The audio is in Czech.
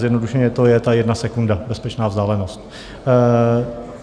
Zjednodušeně, to je ta jedna sekunda - bezpečná vzdálenost.